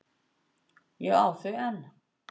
Ég á þau enn.